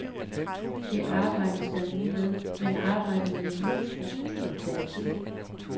Det arbejdes der nu med, men arbejdet med en ny struktur tager tid.